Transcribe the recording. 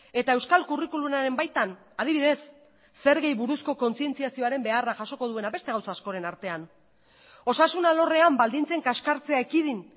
eta euskal curriculumaren baitan adibidez zergei buruzko kontzientziazioaren beharra jasoko duena beste gauza askoren artean osasun alorrean baldintzen kaskartzea ekidin